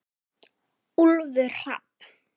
Úlfur Hrafn.